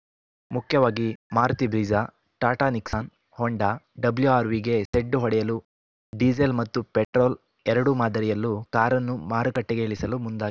ಮುಖ್ಯವಾಗಿ Maruti Brezza Tata Nexon Honda ಡಬ್ಲೂಆರ್‌ವಿಗೆ ಸೆಡ್ಡು ಹೊಡೆಯಲು ಡೀಸೆಲ್‌ ಮತ್ತು ಪೆಟ್ರೋಲ್‌ ಎರಡೂ ಮಾದರಿಯಲ್ಲೂ ಕಾರನ್ನು ಮಾರುಕಟ್ಟೆಗೆ ಇಳಿಸಲು ಮುಂದಾಗಿದೆ